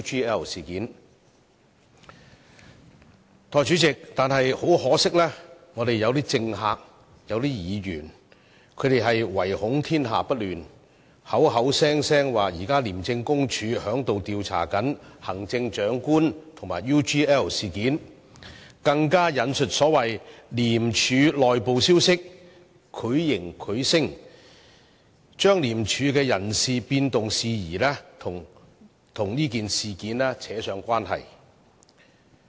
但是，代理主席，很可惜，我們當中有些政客、有些議員卻惟恐天下不亂，口口聲聲說廉署現正調查行政長官和 UGL 事件，更引述所謂的廉署內部消息，繪形繪聲，將廉署的人事變動事宜跟這件事扯上關係。